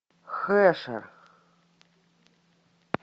хэшер